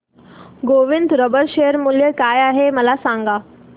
Govind rubber share मूल्य काय आहे मला सांगा